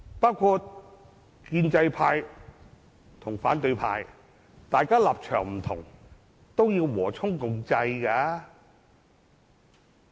以建制派和反對派為例，即使大家立場不同，亦應和衷共濟。